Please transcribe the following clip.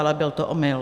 Ale byl to omyl.